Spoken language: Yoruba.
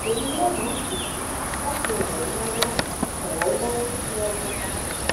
emi yoo ni idunnu lati ran ọ lọwọ ọ lọwọ siwaju sii